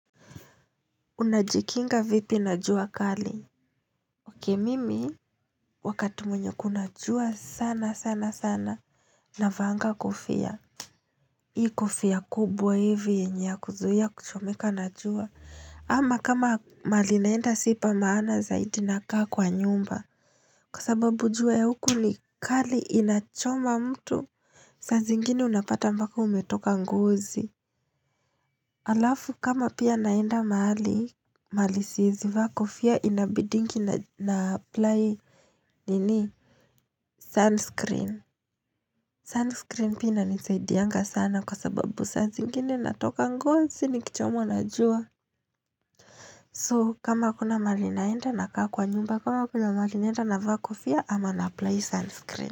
Unajikinga vipi najua kali okay mimi Wakati wenye kuna jua sana sana sana Naavanga kofia Hii kofia kubwa hivi yenye ya kuzuia kuchomeka na jua ama kama mahali naenda sipa maana zaidi naka kwa nyumba Kwa sababu jua ya huku ni kali inachoma mtu saa zingine unapata mpaka umetoka ngozi Alafu kama pia naenda mahali mahali siezi vaa kofia inabidiingi na apply nini sunscreen sunscreen pia inanisaidianga sana kwa sababu saa zingine natoka ngozi nikichomwa na jua So kama kuna mahali naenda na kaa kwa nyumba kama kuna mahali naenda na va kofia ama na apply sunscreen.